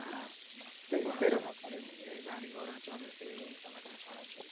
পড়াশোনা করেছে গাড়ি ঘোড়া ছোড়ে সে এই সব একটা ছড়া ছিল